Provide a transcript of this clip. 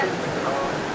Yox yoxdur.